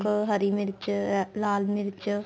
ਹਰੀ ਮਿਰਚ ਲਾਲ ਮਿਰਚ